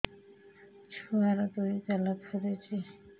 ଛୁଆର୍ ଦୁଇ ଗାଲ ଫୁଲିଚି